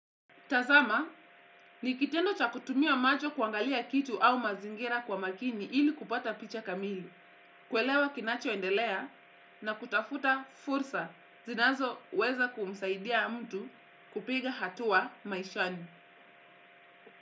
Tazama, nikitendo cha kutumia macho kuangalia kitu au mazingira kwa makini ili kupata picha kamili, kuelewa kinacho endelea na kutafuta fursa zinazo weza kumsaidia mtu kupiga hatua maishani.